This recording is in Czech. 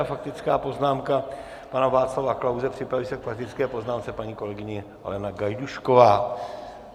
A faktická poznámka pana Václava Klause, připraví se k faktické poznámce paní kolegyně Alena Gajdůšková.